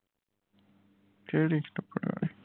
ਕਿਹੜੀ ਰਬੜ ਆਲੀ